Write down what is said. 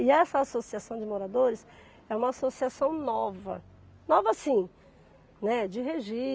E essa associação de moradores é uma associação nova, nova assim, né, de regi